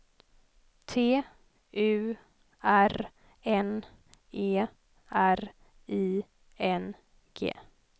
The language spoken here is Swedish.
T U R N E R I N G